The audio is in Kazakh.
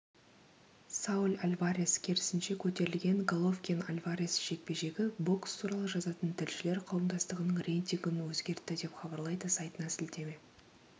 сауль альварес керісінше көтерілген головкин-альварес жекпе-жегі бокс туралы жазатын тілшілер қауымдастығының рейтингін өзгертті деп хабарлайды сайтына сілтеме